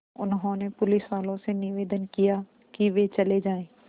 उन्होंने पुलिसवालों से निवेदन किया कि वे चले जाएँ